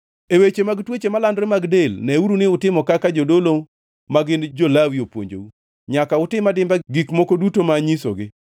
E weche mag tuoche malandore mag del, neuru ni utimo kaka jodolo ma gin jo-Lawi opuonjou. Nyaka utim adimba gik moko duto ma anyisogi.